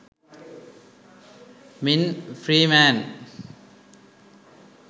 ming freeman